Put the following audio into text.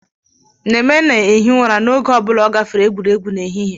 Neme na-ehi ụra n'oge ọ bụla ọ gafere egwuregwu n'ehihie